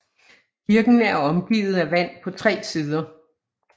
Kirken er omgivet af vand på tre sider